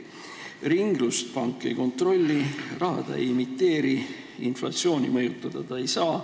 Ringlust pank ei kontrolli, raha ta ei emiteeri, inflatsiooni mõjutada ta ei saa.